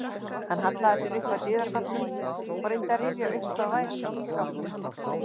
Hann hallaði sér upp að dyrastafnum og reyndi að rifja upp hvað væri í ísskápnum.